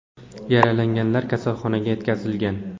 Yaralanganlar kasalxonaga yetkazilgan.